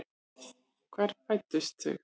Hvar fæddust þau?